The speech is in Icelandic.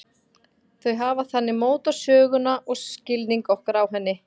Þau hafa þannig mótað söguna og skilning okkar á henni.